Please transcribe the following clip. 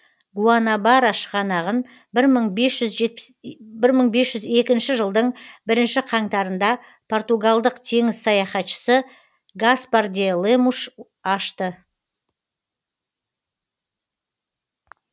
гуанабара шығанағын бір мың бес жүз екінші жылдың бірінші қаңтарында португалдық теңіз саяхатшысы гаспар де лемуш ашты